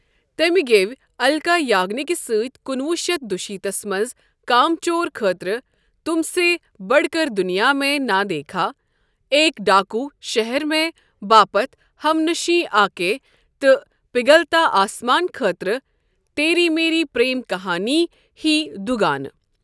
تٔمۍ گیٚوۍ الکا یاگنیکہِ سٕتۍ کُنوُہ شیتھ دُشیتھس منز کام چور خٲطرٕ ' تُم سے بڈ كر دُنِیا میں نا دیكھا ' ایک ڈاكوٗ شہر میں باپتھ 'ہم نشیں آكے' تہٕ پِگھلتا آسماں خٲطرٕ 'تیری میری پرٛیم كہانی' ہی دُگانہٕ۔